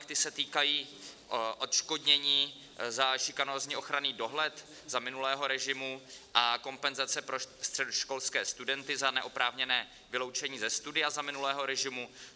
Ty se týkají odškodnění za šikanózní ochranný dohled za minulého režimu a kompenzace pro středoškolské studenty za neoprávněné vyloučení ze studia za minulého režimu.